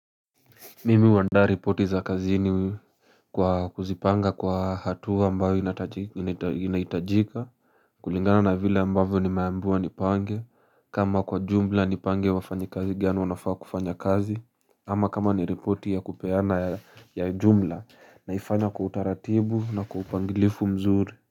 Mimi huandaa ripoti za kazini kwa kuzipanga kwa hatua ambayo inahitajika kulingana na vile ambavyo nimeambiwa nipange kama kwa jumla nipange wafanyikazi gani wanafaa kufanya kazi ama kama ni ripoti ya kupeana ya jumla naifanya kwa utaratibu na kwa upangilifu mzuri.